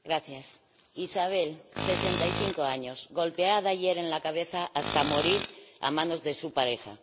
Señora Presidenta Isabel, 65 años, golpeada ayer en la cabeza hasta morir a manos de su pareja.